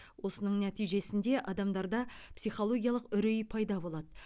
осының нәтижесінде адамдарда психологиялық үрей пайда болады